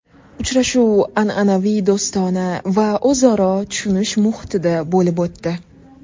Uchrashuv an’anaviy do‘stona va o‘zaro tushunish muhitida bo‘lib o‘tdi.